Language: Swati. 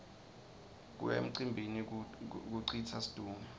kuya emcimbini kucitsa situnge